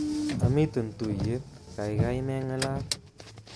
Amiten tuyet kaikai mengalal